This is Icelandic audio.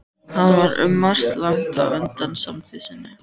Hann var um margt langt á undan samtíð sinni.